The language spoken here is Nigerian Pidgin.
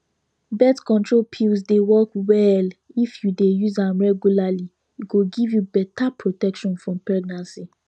birth control pills dey work well if you dey use am regularly e go give you better protection from pregnancy